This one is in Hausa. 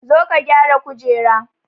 Zo ka gyara kujera